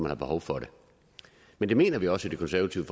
har behov for det men det mener vi også i det konservative